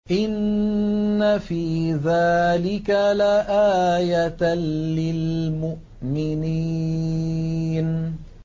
إِنَّ فِي ذَٰلِكَ لَآيَةً لِّلْمُؤْمِنِينَ